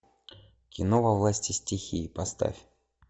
кино во власти стихии поставь